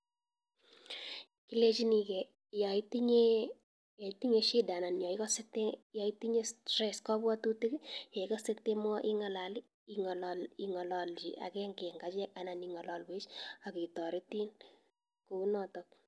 Ilechinike yaitinye shida anan yekase yetinye kabwatutik ing'alalchi akenge en achek anan ing'alalwek aketaritin kounata.